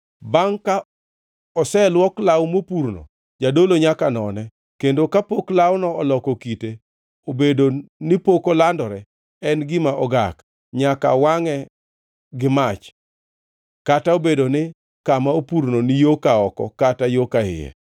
Bangʼ ka oseluok law mopurno, jadolo nyaka none, kendo kapok lawno oloko kite obedo ni pok olandore, en gima ogak. Nyaka wangʼe gi mach kata obedo ni kama opurno ni yo ka oko kata yo ka iye.